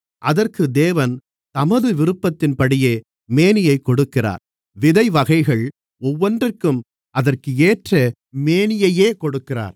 அதற்கு தேவன் தமது விருப்பத்தின்படியே மேனியைக் கொடுக்கிறார் விதை வகைகள் ஒவ்வொன்றிற்கும் அதற்கேற்ற மேனியையே கொடுக்கிறார்